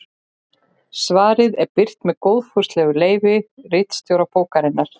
Svarið er birt með góðfúslegu leyfi ritstjóra bókarinnar.